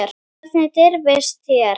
Hvernig dirfist þér.